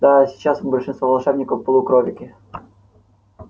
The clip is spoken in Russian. да сейчас большинство волшебников полукролики